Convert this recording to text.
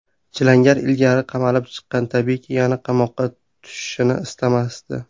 Chilangar ilgari qamalib chiqqan, tabiiyki, yana qamoqqa tushishni istamasdi.